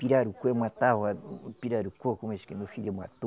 Pirarucu, eu matava pirarucu, como esse que meu filho matou.